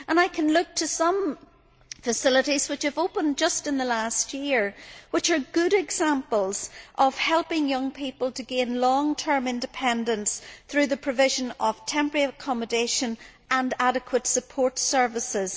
I can look to some facilities which have opened just in the last year which are good examples of helping young people to gain long term independence through the provision of temporary accommodation and adequate support services.